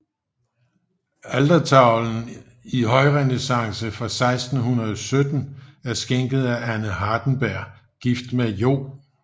Altertavlen i højrenæssance fra 1617 er skænket af Anne Hardenberg gift med Joh